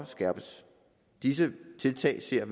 skærpes disse tiltag ser